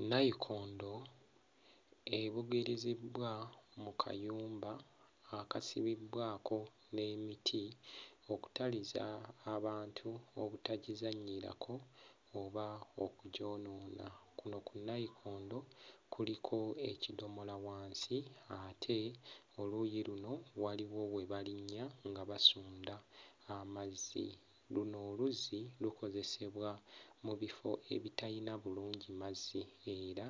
Nnayikondo ebugiriziddwa mu kayumba akasibiddwako n'emiti okutaliza abantu obutagizannyirako oba okugyonoona. Kuno ku nnayikondo kuliko ekidomola wansi ate oluuyi luno waliwo we balinnya nga basunda amazzi. Luno oluzzi lukozesebwa mu bifo ebitalina bulungi mazzi era